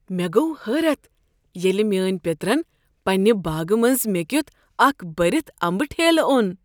مےٚ گوٚو حٲرت ییٚلہ میٛٲنۍ پیٔترن پنٛنہ باغہٕ منٛز مےٚ کِیُتھ اكھ بٔرِتھ امبہٕ ٹھیلہٕ اوٚن۔